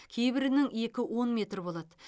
кейбірінің екі он метр болады